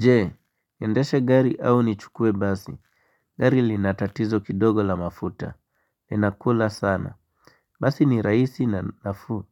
Je, niendeshe gari au nichukue basi? Gari lina tatizo kidogo la mafuta. Inakula sana. Basi ni rahisi na nafuu.